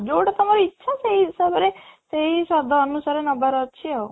ଯୋଉଟା ତମର ଇଚ୍ଛା ସେଇ ହିସାବରେ ସେଇ ସାଧା ଅନୁସାରେ ନେବାର ଅଛି ଆଉ